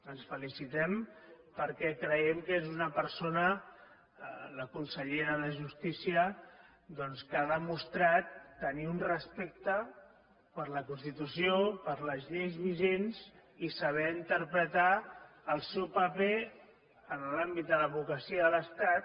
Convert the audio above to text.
ens en felicitem perquè creiem que és una persona la consellera de justícia doncs que ha demostrat tenir un respecte per la constitució per les lleis vigents i saber interpretar el seu paper en l’àmbit de l’advocacia de l’estat